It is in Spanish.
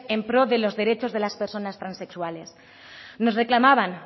en pro de los derechos de las personas transexuales nos reclamaban